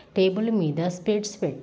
table మీద specs పెట్--